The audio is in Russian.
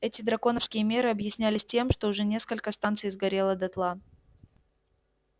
эти драконовские меры объяснялись тем что уже несколько станций сгорело дотла